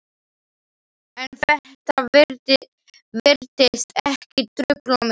En þetta virtist ekki trufla mig.